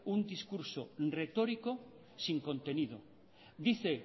un discurso retórico sin contenido dice